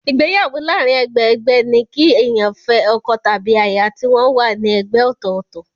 Ìgbéyàwó láàárín ẹgbẹ-ẹgbẹ́ ní kí èèyàn fẹ́ ọkọ tàbí aya tí wọ́n wà ní ẹgbẹ́ ọ̀tọ̀ọ̀tọ̀.